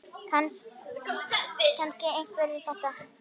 Kannast einhver við þetta?